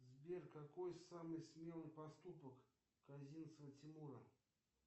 сбер какой самый смелый поступок козинцева тимура